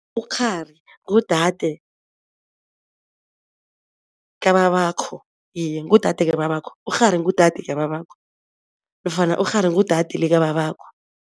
Ukghari ngudade kababakho, iye ngudade kababakho, ukghari ngudade kababakho nofana ukghari ngudade likababakho.